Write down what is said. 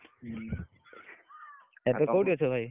ହୁଁ ଏବେ କୋଉଠି ଅଛ ଭାଇ?